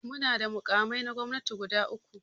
Muna da makamai na gwamnati guda uku.